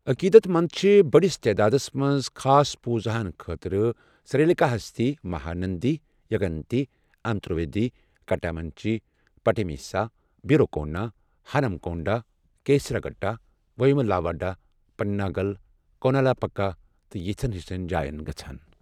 عٔقیٖدت منٛد چھِ بٔڑِس تعدادس منٛز خاص پوٗزاہن خٲطرٕ سِرٛیٖکَلاہَستی، مَہاننٛدی، یَگنتی، انترویدی، کَٹامنچی، پَٹیٖسیٖما، بھیروا کونا، ہَنم کونٛڈہ، کیٖسراگُٹہ، ویٚموٗلَاواڑا، پَناگل، کولَانوٗپَکا تہٕ یِژھن ہِشن جاین واتان ۔